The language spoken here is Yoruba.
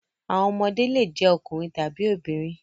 Àwọn ọmọdé le jẹ́ ọkùnrin tàbí obìnrin.